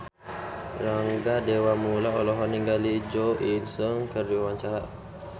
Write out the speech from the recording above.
Rangga Dewamoela olohok ningali Jo In Sung keur diwawancara